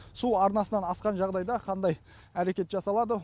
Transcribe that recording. су арнасынан асқан жағдайда қандай әрекет жасалады